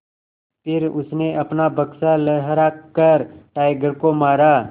फिर उसने अपना बक्सा लहरा कर टाइगर को मारा